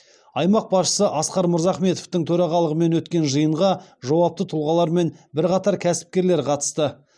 аймақ басшысы асқар мырзахметовтың төрағалығымен өткен жиынға жауапты тұлғалар мен бірқатар кәсіпкерлер қатысты